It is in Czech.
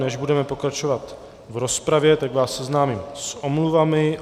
Než budeme pokračovat v rozpravě, tak vás seznámím s omluvami.